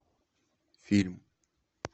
фильм